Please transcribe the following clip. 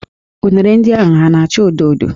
Unere ndị ahụ ha na-áchà odo odo?